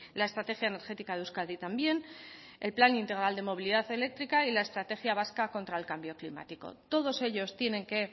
la estrategia energética de euskadi también el plan integral de movilidad eléctrica y la estrategia vasca contra el cambio climático todos ellos tienen que